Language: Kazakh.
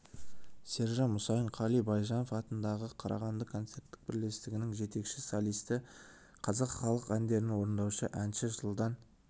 сержан мұсайын қали байжанов атындағы қарағанды концерттік бірлестігінің жетекші солисі қазақ халық әндерін орындаушы әнші жылдан